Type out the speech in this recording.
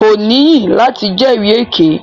Ko níyì lati jẹri èké.